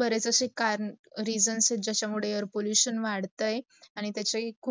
बरेच जसे करण reasons आहे ज्याचा मुडे air pollution वाढतायत आणी त्याचाही खूप